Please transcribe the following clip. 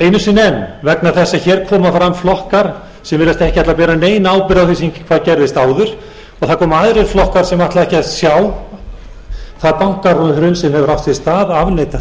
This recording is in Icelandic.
einu sinni enn vegna þess að hér koma fram flokkar sem virðast ekki ætla að bera neina ábyrgð á því sem gerðist áður og það koma aðrir flokkar sem ætla ekki að sjá það bankahrun sem hefur átt sér stað